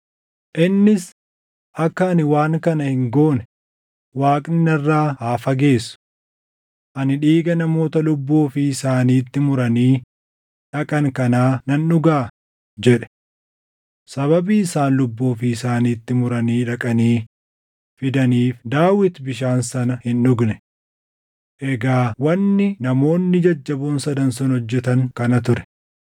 Innis, “Akka ani waan kana hin goone Waaqni narraa haa fageessu! Ani dhiiga namoota lubbuu ofii isaaniitti muranii dhaqan kanaa nan dhugaa?” jedhe. Sababii isaan lubbuu ofii isaaniitti muranii dhaqanii fidaniif Daawit bishaan sana hin dhugne. Egaa wanni namoonni jajjaboon sadan sun hojjetan kana ture.